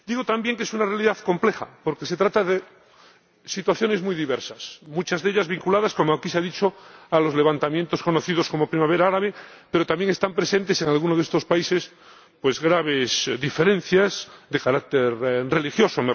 Digo también que es una realidad compleja porque engloba situaciones muy diversas, muchas de ellas vinculadas, como aquí que se ha dicho, a los levantamientos conocidos como primavera árabe, pero también están presentes, en algunos de estos países, graves diferencias de carácter religioso